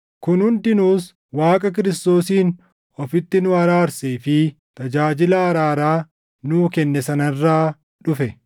Kun hundinuus Waaqa Kiristoosiin ofitti nu araarsee fi tajaajila araaraa nuu kenne sana irraa dhufe;